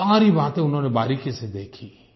सारी बातें उन्होंने बारीकी से देखीं